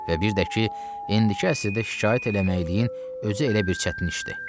Və bir də ki, indiki əsrdə şikayət eləməkləyin özü elə bir çətin işdir.